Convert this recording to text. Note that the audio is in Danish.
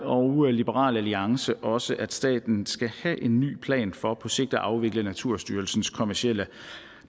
og liberal alliance også at staten skal have en ny plan for på sigt at afvikle naturstyrelsens kommercielle